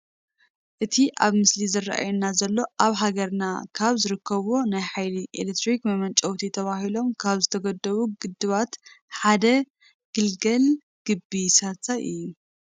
እቲ ኣብቲ ምስሊ ዝራኣየና ዘሎ ኣብ ሃገርና ካብ ዝርከቡ ናይ ሓይሊ ኤሌክትሪክ መመንጨውቲ ተባሂሎም ካብ ዝተገደቡ ግድባት ሓደ ግልገል ግቤ 3 እዩ፡፡